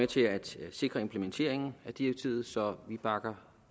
til at sikre implementeringen af direktivet så vi bakker